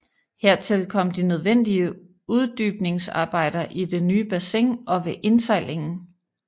Hertil kom de nødvendige uddybningsarbejder i det nye bassin og ved indsejlingen